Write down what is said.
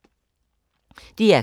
DR K